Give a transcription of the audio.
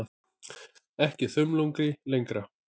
Ekki þumlungi lengra.